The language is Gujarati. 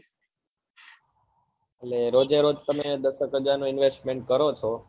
એટલે રોજે રોજ તમે દસ કે હજાર નું investment કરો છો